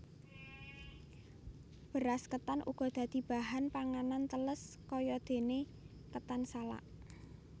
Beras ketan uga dadi bahan panganan tèlès kayadene ketan salak